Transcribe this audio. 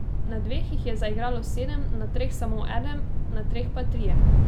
Na dveh jih je zaigralo sedem, na treh samo eden, na treh pa trije.